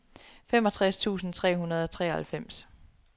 femogtres tusind tre hundrede og treoghalvfems